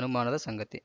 ಅನುಮಾನದ ಸಂಗತಿ